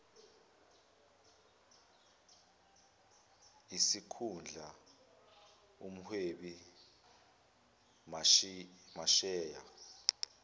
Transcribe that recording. isikhundla umhwebi masheya